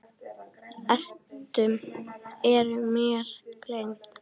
Eru mér gleymd.